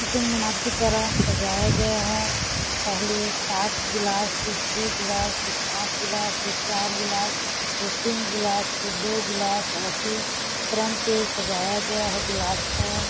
क़ुतुब मीनार की तरह सजाया गया है पहले सात गिलास फिर छे गिलास फिर पांच गिलास फिर चार गिलास फेर तीन गिलास फिर दो गिलास ऐसे क्रम से सजाया गया है गिलास को--